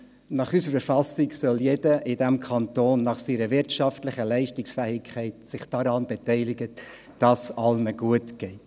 Nach unserer Verfassung soll sich jeder in diesem Kanton nach seiner wirtschaftlichen Leistungsfähigkeit daran beteiligen, dass es allen gut geht.